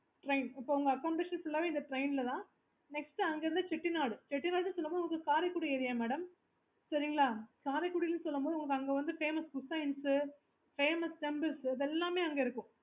next அங்க இருந்து Chettinad உங்களுக்கு காரைக்குடி area madam சரிங்களா காரைக்குடின்னு சொல்லும்போது உங்களுக்கு அங்க வந்து famousfamous temples இது எல்லாமே அங்க இருக்கும்